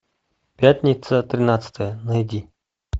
пятница тринадцатое найди